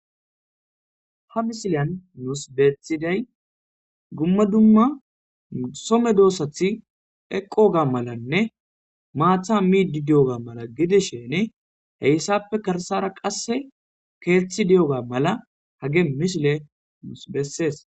Ha misileyan muus beethiday gumma dumma some doossathi eqqoga malanne maatha miidi di'oga mala gidishene heyssappe karsara qasse keeththi de'oga mala hage mishile muus bessees.